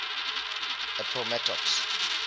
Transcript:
appomattox